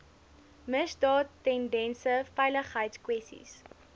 misdaad tendense veiligheidskwessies